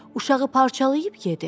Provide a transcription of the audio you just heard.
Uşağı parçalayıb yedi.